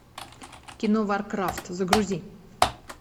кино варкрафт загрузи